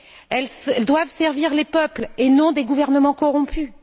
Elles doivent servir les peuples et non des gouvernements corrompus.